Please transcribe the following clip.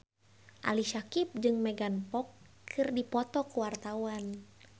Ali Syakieb jeung Megan Fox keur dipoto ku wartawan